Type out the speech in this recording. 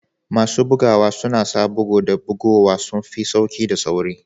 Masu bugawa suna sa bugu da buguwa sun fi sauƙi da sauri